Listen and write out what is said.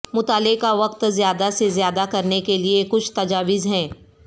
مطالعے کا وقت زیادہ سے زیادہ کرنے کے لئے کچھ تجاویز ہیں